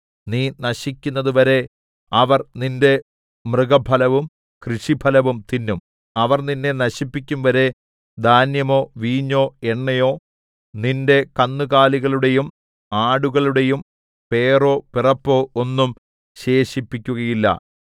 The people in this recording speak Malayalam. നീ നശിക്കുന്നതുവരെ അവർ നിന്റെ മൃഗഫലവും കൃഷിഫലവും തിന്നും അവർ നിന്നെ നശിപ്പിക്കുംവരെ ധാന്യമോ വീഞ്ഞോ എണ്ണയോ നിന്റെ കന്നുകാലികളുടെയും ആടുകളുടെയും പേറോ പിറപ്പോ ഒന്നും ശേഷിപ്പിക്കുകയില്ല